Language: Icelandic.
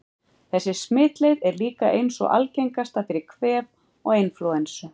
Þessi smitleið er líka ein sú algengasta fyrir kvef og inflúensu.